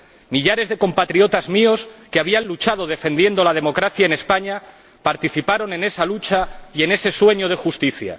Millares de compatriotas míos que habían luchado defendiendo la democracia en España participaron en esa lucha y en ese sueño de justicia.